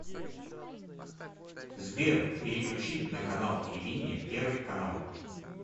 сбер переключить на канал телевидения первый канал